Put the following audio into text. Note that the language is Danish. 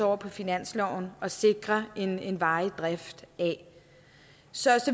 over på finansloven og sikrer en en varig drift af så